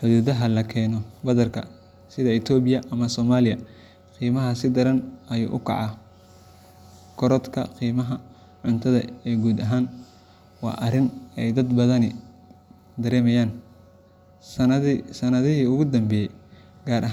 xuduudaha laga keeno badarka, sida Itoobiya ama Soomaaliya, qiimaha si daran ayuu u kacaa. Korodhka qiimaha cuntada ee guud ahaan waa arrin ay dad badani dareemayaan sanadihii u dambeeyay, gaar ahaan.